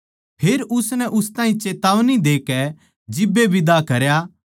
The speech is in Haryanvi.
फेर उसनै उस ताहीं चेतावनी देकै जिब्बे बिदा करया